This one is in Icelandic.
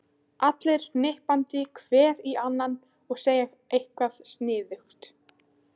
Allir hnippandi hver í annan og að segja eitthvað sniðugt.